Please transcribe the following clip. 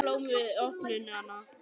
Og ég færði þeim blóm við opnunina.